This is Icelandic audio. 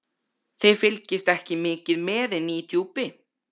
Þið fylgist ekki mikið með inni í Djúpi.